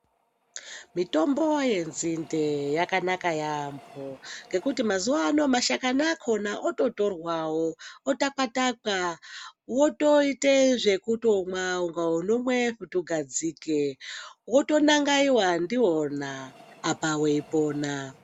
Mitombo yenzinde yakanaka yambo ngekuti mazuva ano mashakani akona ototorwawo Wotoita zvekutomwa kunge unomwe svutu gadzike wotonangaiwa ndiyona apa weipona.